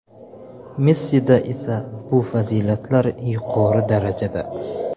Messida esa bu fazilatlar yuqori darajada.